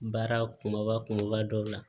Baara kumaba kumaba dɔ la